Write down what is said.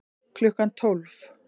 Klukkan tólf